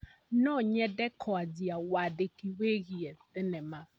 No nyende kũanjia wandĩki wĩgiĩ thenema.